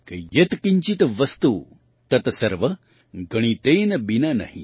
यत् किंचित वस्तु तत सर्व गणितेन बिना नहि